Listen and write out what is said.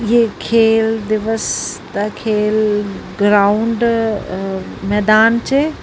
ਖੇਲ ਦਿਵਸ ਦਾ ਖੇਲ ਗਰਾਉਂਡ ਮੈਦਾਨ ਚ।